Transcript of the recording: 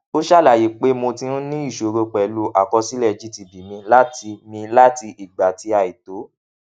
ó ṣàlàyé pé mo ti ń ní ìṣòro pèlú àkọsílẹ gtb mi láti mi láti ìgbà tí àìtó